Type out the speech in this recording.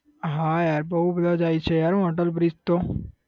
હા yaar બહુ બધા જાય છે યાર અટલ bridge તો